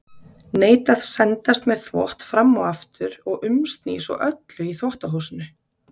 Neita að sendast með þvott fram og aftur og umsný svo öllu í þvottahúsinu.